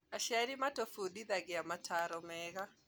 Aciari matũfundithagĩa mataro mega